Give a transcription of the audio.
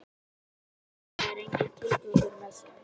Ef maður hugsar um það er enginn tilgangur með þeim.